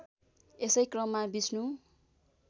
यसै क्रममा विष्णु